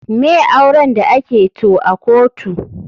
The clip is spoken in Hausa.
Me auren da ake to a kotu?